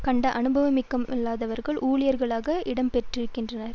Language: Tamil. கண்ட அனுபவமிக்கவர்கள்தான் ஊழியர்களாக இடம்பெற்றிருக்கின்றனர்